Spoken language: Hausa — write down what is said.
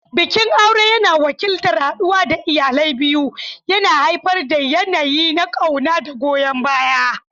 Bikin aure yana wakiltar haɗuwa da iyalai biyu, yana haifar da yanayi na ƙauna da goyon baya.